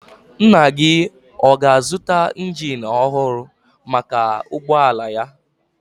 Nna gị ọ ga-azụta injin ọhụrụ maka ụgbọala ya?